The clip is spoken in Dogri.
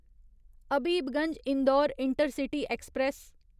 Habibganj Indore intercity express